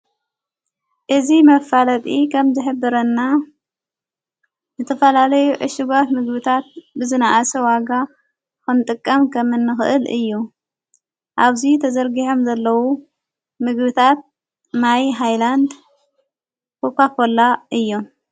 እዝ መብፋለጢ ኸም ዘኅብረና ነትፈላለዩ ዕሽጓት ምግብታት ብዝነኣሰ ዋጋ ኾንጥቃም ከምንኽእል እዩ ኣብዙይ ተዘርጊሖም ዘለዉ ምግብታት ማይ ኃይላንድ ኳካኮላ እዮም።